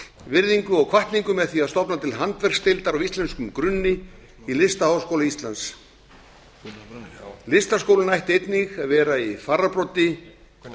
virðingu og hvatningu með því að stofna til handverksdeildar á íslenskum grunni í listaháskóla íslands listaháskólinn ætti einnig að vera í fararbroddi